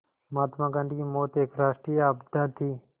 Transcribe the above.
महात्मा गांधी की मौत एक राष्ट्रीय आपदा थी